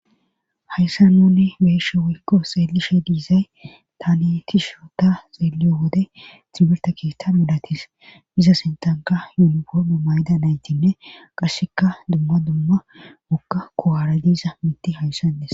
Hayssa nonne be'eshe wkko xeelishe diizay tani ti shu ta xeeleyo wode xibilta keetta milatis iza sentanka yunifobe mayda naytinne qasseka dumma dumma mokka kowaara diiza mitti hayssanes.